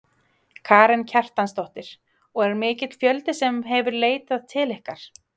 Karen Kjartansdóttir: Og er mikill fjöldi sem hefur leitað til ykkar?